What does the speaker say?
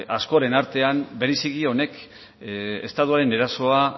askoren artean bereziki honek estutuaren erasoa